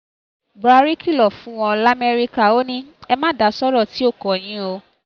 buhari kìlọ̀ fún wọn lamẹ́ríkà ò ní e ma da sọ̀rọ̀ tí ó kàn yín o